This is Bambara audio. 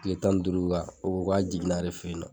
Kile tan ni duuru o ko k'a jiginna ale fɛ ye nɔ.